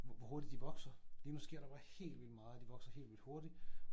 Hvor hurtigt de vokser lige nu sker der bare helt vildt meget og de vokser helt vildt hurtig